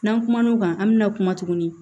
N'an kumana o kan an bi na kuma tuguni